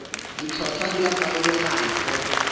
ditlhotlhwa di a farologana go